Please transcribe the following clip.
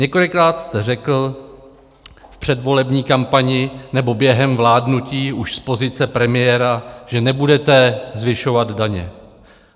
Několikrát jste řekl v předvolební kampani nebo během vládnutí už z pozice premiéra, že nebudete zvyšovat daně.